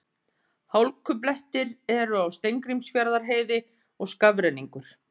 Hálkublettir eru á Steingrímsfjarðarheiði og skafrenningur